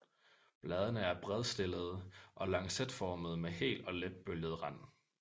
Bladene er spredtstillede og lancetformede med hel og lidt bølget rand